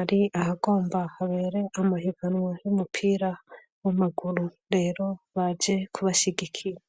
ari ahagomba habere amahiganwa y'umupira w'amaguru rero baje kubashyigikiya